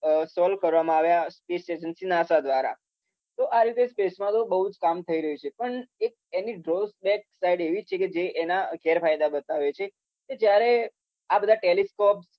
Solve કરવામાં આવ્યા. Space agency NASA દ્રારા. તો આ રીતે તો સ્પેસમાં તો બઉ જ કામ થઈ રયુ છે. પણ એક એની ઘોસ્ટ બેક સાઈડ એવી છે કે જે એના ગેરફાયદા બતાવે છે જ્યારે આ બધા ટેલીસ્કોપ